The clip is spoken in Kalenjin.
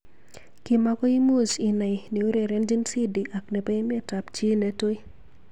Kimakoi imuch inai neurerenjin Sidi ak nebo emet ab chi netui.